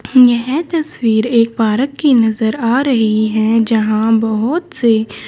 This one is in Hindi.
यह तस्वीर एक पारक की नजर आ रही है जहां बहोत से--